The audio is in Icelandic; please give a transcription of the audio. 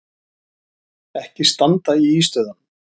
Ekki standa í ístöðunum!